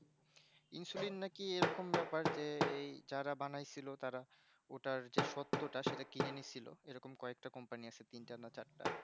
insuline নাকি যেন এরকম বেপার যারা বানাইছিলো তারা ওটার যে সত্য তা কি যেন ছিল ওরম কয়েকটা company আছে তিনটা না চারটা আছে